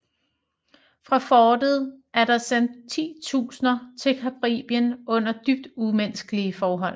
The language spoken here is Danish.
Fra fortet er der sendt titusinder til Caribien under dybt umenneskelige forhold